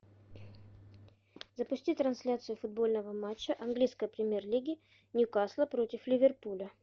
запусти трансляцию футбольного матча английской премьер лиги ньюкасла против ливерпуля